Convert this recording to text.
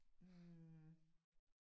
Hm